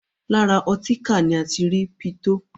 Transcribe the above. Lára ọtíkà ni a ti ń rí pitó.